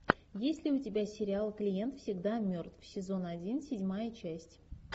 есть ли у тебя сериал клиент всегда мертв сезон один седьмая часть